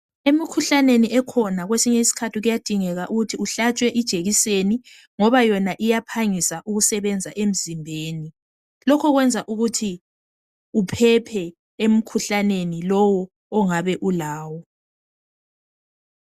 Emikhuhlaneni ekhona kwesinye isikhathi kuyadingeka ukuthi uhlatshwe ijekiseni ngoba yona iyaphangisa ukusebenza emzimbeni. Lokho kwenza ukuthi uphephe emkhuhlaneni lowo ongabe ulawo.